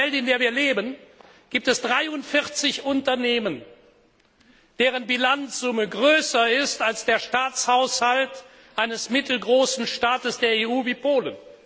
In dieser Welt, in der wir leben, gibt es 43 Unternehmen, deren Bilanzsumme größer ist als der Staatshaushalt eines mittelgroßen Staates der EU wie Polen.